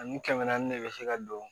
Ani kɛmɛ naani de bɛ se ka don